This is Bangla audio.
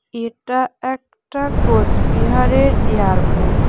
এটা একটা কোচবিহারের এয়ারপোর্ট ।